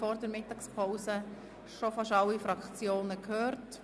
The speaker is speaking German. Vor der Mittagspause haben wir bereits fast alle Fraktionen gehört.